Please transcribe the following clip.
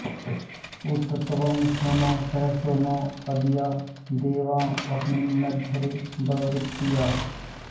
उत त्वं सूनो सहसो नो अद्या देवाँ अस्मिन्नध्वरे ववृत्याः